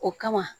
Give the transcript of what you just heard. O kama